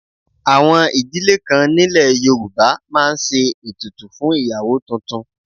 Àwọn ìdílé kan nílẹ̀ Yorùbá máa ń ṣe ètùtù fún ìyàwó tuntun